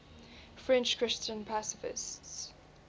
french christian pacifists